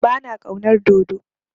Ba na ƙaunar dodo.